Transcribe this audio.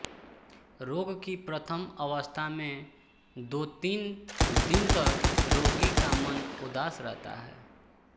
रोग की प्रथम अवस्था में दोतीन दिन तक रोगी का मन उदास रहता है